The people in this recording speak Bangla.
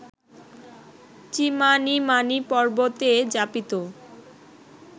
চিমানিমানি পর্বতে যাপিত